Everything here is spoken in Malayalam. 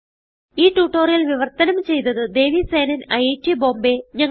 ഈ ട്യൂട്ടോറിയൽ വിവർത്തനം ചെയ്തത് ദേവി സേനൻ ഐറ്റ് ബോംബേ